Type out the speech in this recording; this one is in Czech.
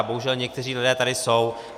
A bohužel někteří lidé tady jsou.